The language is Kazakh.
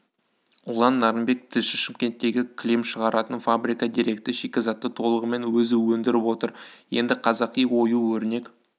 ұлан нарынбек тілші шымкенттегі кілем шығаратын фабрика керекті шикізатты толығымен өзі өндіріп отыр енді қазақи ою-өрнек